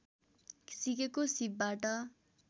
सिकेको सिपबाट